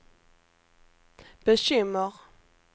bekymmer